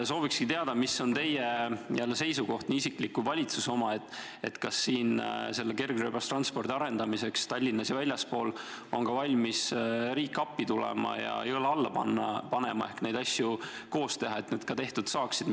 Sooviksingi teada, mis on teie seisukoht – nii isiklik kui valitsuse oma –, kas kergrööbastranspordi arendamiseks Tallinnas ja selle lähikonnas on riik valmis appi tulema ja õla alla panema, et neid asju koos teha, et need ka tehtud saaksid.